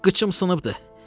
Qıçım sınıbdır.